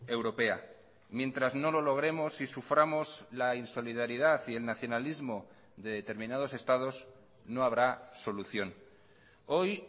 europea mientras no lo logremos y suframos la insolidaridad y el nacionalismo de determinados estados no habrá solución hoy